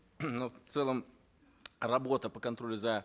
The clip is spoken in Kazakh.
ну в целом работа по контролю за